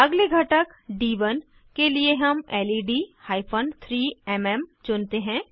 अगले घटक डी1 के लिए हम लेड हाइफन 3म् चुनते हैं